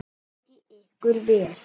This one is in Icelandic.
Gangi ykkur vel.